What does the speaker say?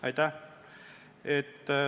Aitäh!